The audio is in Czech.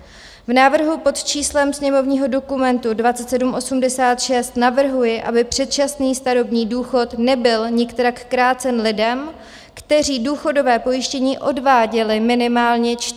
V návrhu pod číslem sněmovního dokumentu 2786 navrhuji, aby předčasný starobní důchod nebyl nikterak krácen lidem, kteří důchodové pojištění odváděli minimálně 45 let.